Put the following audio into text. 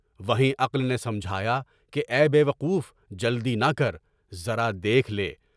وہیں عقل نے سمجھایا کہ اے بے وقوف جلدی نہ کر، ذرا دیکھ لے۔